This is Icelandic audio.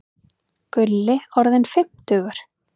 Gulli orðinn fimmtugur.